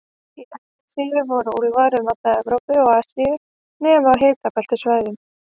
Í Evrasíu voru úlfar um alla Evrópu og Asíu, nema á hitabeltissvæðunum.